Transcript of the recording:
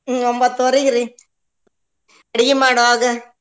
ಹ್ಮ್ ಒಂಬತ್ತುವರಿಗ್ ರೀ ಅಡ್ಗಿ ಮಾಡೋವಾಗ.